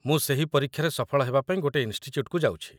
ମୁଁ ସେହି ପରୀକ୍ଷାରେ ସଫଳ ହେବା ପାଇଁ ଗୋଟେ ଇନ୍‌ଷ୍ଟିଚ‍୍ୟୁଟ୍‌କୁ ଯାଉଛି